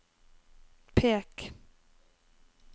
pek